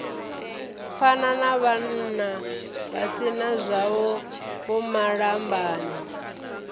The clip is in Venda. pfana navhannavha si nazwavho vhomalambane